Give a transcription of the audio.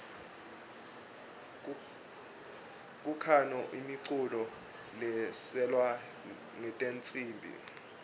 kukhano imiculo leislalwa ngetnsimbi